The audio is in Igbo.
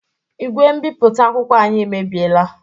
Igwe mbipụta akwụkwọ anyị emebiela.